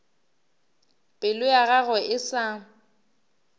pelo ya gagwe e sa